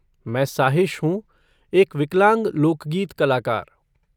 मैं साहिश हूँ, एक विकलांग लोकगीत कलाकार।